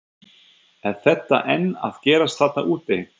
Er þetta enn að gerast þarna úti?